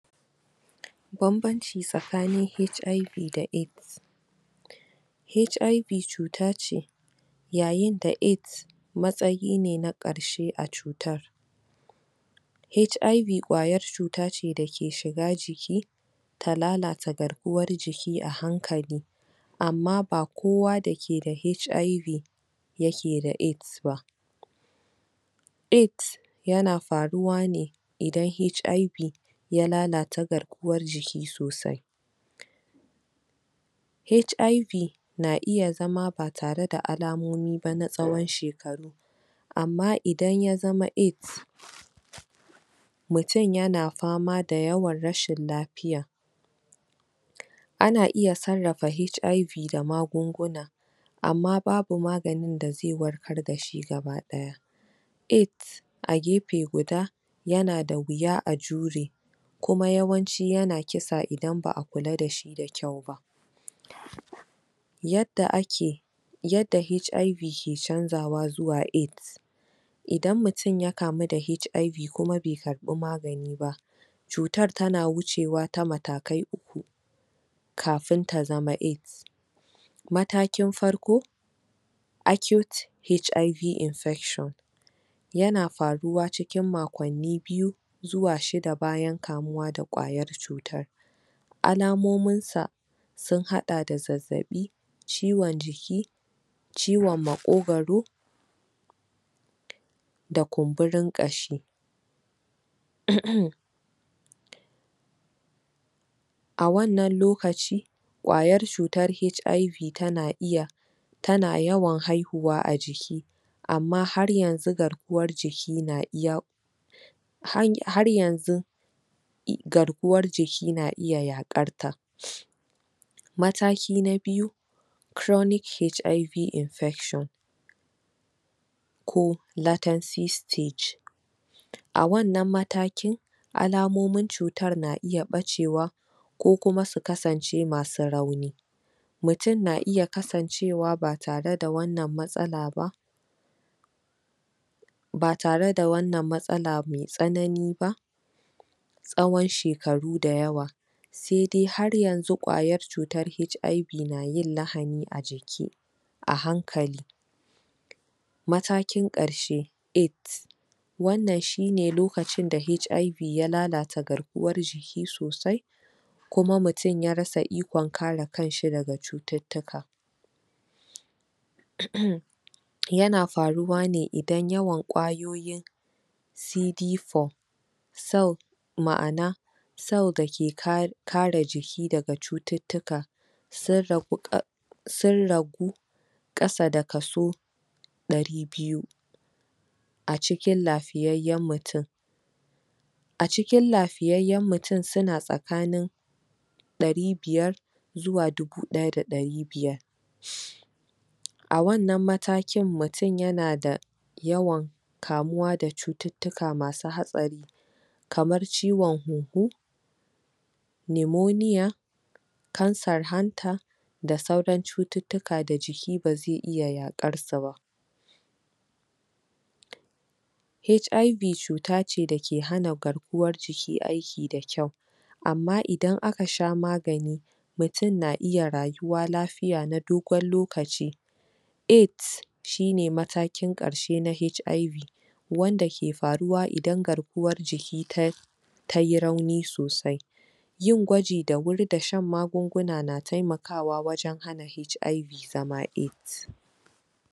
Banbanci tsakanin HIV da AIDS, Hiv cuta ce yayin da Aids matsayinne na karshe a cutar hiv cuta kwayar cuta ce dake shiga jiki ta lalata garkuwar jiki a hankali amma ba kowa da ke da hiv yake da Aids ba Aids yana faruwa ne idan hiv ya lalata garkuwar jiki sosai hiv na iya zama ba tare da alamomi ba na tsawon shekaru amma idan ya zama Aids mutum yana fama da yawan rashin lafiya ana iya sarrafa hiv da magunguna amma babu maganin da zai warkar dashi gabadaya. Aids a gefe guda yana da wuya a jure kuma yawanci yana kisa idan ba'a kula dashi da kyau ba yadda ake yadda hiv ke canjawa zuwa Aids idan mutum ya kamu da hiv kuma bai karbi magani ba, cutar tana wucewa ta matakai kafin ta zama Aids. Matakin farko accute hiv infection yana faruwa cikin makonni biyu zuwa shida bayan kamuwa da kwayar cutar alamominsa sun hada zazzabi ciwon ciki ciwon makogwaro da kumburin kashi. A wannan lokaci kwayar cutar hiv tana iya tana yawan haihuwa a jiki amma har yanzu garkuwar jiki na iya har yanzu garkuwar jiki na iya yakarta Mataki na biyu chronic hiv infection ko latancy stage a wannan mataki alamomin cutar na iya bacewa ko kuma su kasance masu rauni, mutum na iya kasancewa ba tare da wannan matsala ba,, ba tare da wannan matsala mai tsanani ba tsawon shekaru da yawa sai dai har yanzu kwayar cutar hiv na yin lahani a jiki a hankali Matakin karshe, Aids wannan shine lokacin da hiv ya lalata garkuwar jiki sosai, kuma mutum ya rasa ikon kare kanshi da cututtukan yana faruwa ne idan yawan kwayoyin cd4 cell ma'ana cell dake kare jiki daga cututtuka, sun rabu-sun rabu kasa da kaso dari biyu a jikin lafiyayyen mutum a jikin lafiyayyen mutum suna tsakanin dari biyar zuwa dubu daya da dari biyar a wannan matakin mutum yana da yawan Kamuwa da cututtuka masu hatsari kamar ciwon huhu limoniya kansar hanta da sauran cututtuka da jiki ba zai iya yakarsu ba. Hiv cuta ce dake hana garkuwar jiki aiki da kyau amma idan aka sha magani mutum na iya rayuwa na dogon lokaci Aids Shine matakin karshe na hiv wanda ke faruwa idan garkuwar jiki tayi rauni sosai yin gwaji da wuri da shan magunguna na taimakawa wajen hana hiv zama Aids